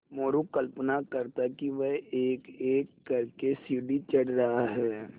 मोरू कल्पना करता कि वह एकएक कर के सीढ़ी चढ़ रहा है